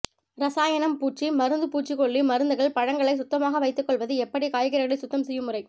ரசாயனம் பூச்சி மருந்துபூச்சிக்கொல்லி மருந்துகள்பழங்களை சுத்தமாக வைத்துக்கொள்வது எப்படிகாய்கறிகளை சுத்தம் செய்யும் முறை